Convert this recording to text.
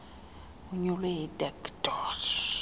onyulwe yidac idoj